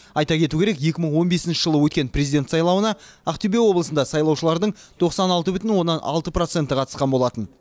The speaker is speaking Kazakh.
айта кету керек екі мың он бесінші жылы өткен президент сайлауына ақтөбе облысында сайлаушылардың тоқсан алты бүтін оннан алты проценті қатысқан болатын